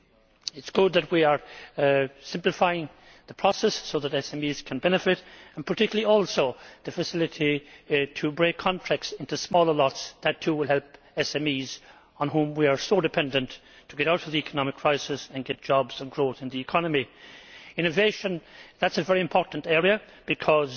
It is good that we are simplifying the process so that SMEs can benefit, particularly through the facility to break contracts into smaller lots. That, too, will help SMEs, on which we are so dependent to get out of the economic crisis and create jobs and growth in the economy. Innovation is a very important area, because